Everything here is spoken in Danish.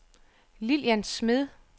Lillian Smed